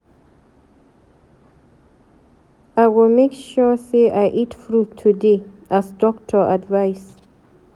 I go make sure sey I eat fruit today as doctor advice.